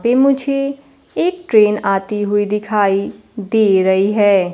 पे मुझे एक ट्रेन आती हुई दिखाई दे रही है।